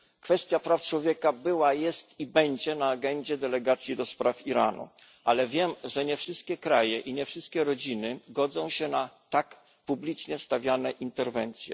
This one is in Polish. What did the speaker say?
Kwestia praw człowieka była, jest i będzie na agendzie delegacji do spraw Iranu, ale wiem, że nie wszystkie kraje i nie wszystkie rodziny godzą się na tak publicznie stawiane interwencje.